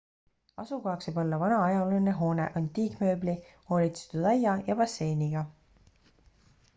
asukohaks võib olla vana ajalooline hoone antiikmööbli hoolitsetud aia ja basseiniga